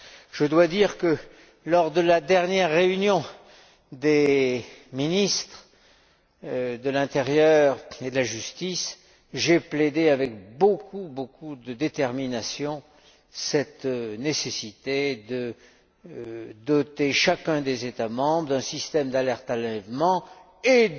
Je dois dire que, lors de la dernière réunion des ministres de l'intérieur et de la justice, j'ai plaidé avec beaucoup de détermination cette nécessité de doter chacun des États membres d'un système d'alerte enlèvement